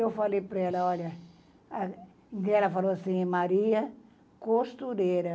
Eu falei para ela, olha, e ela falou assim, Maria, costureira.